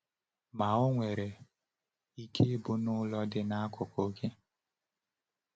Ma o nwere ike ịbụ n’ụlọ dị n’akụkụ gị.”